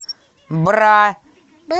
бра